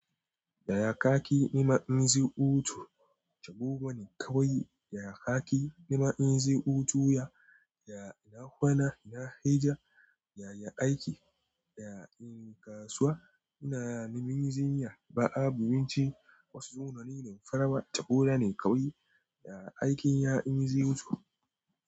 Yaya kaki na ma'aunin ziputu? Tabo bani kawai yaya kaki na ma'aunin ziputu ya, ya na kwana, na hira, yaya aiki, ya in kasuwa, ina na min zinya, ba'a, abinci, wasu dununi, damfara, tabo da ne kawai yaya aikin ya' yin ziputu.